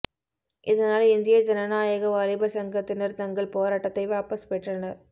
இதனால்இந்திய ஜனநாயக வாலிபர் சங்கத்தினர் தங்கள் போராட்டத்தை வாபஸ் பெற்றனர்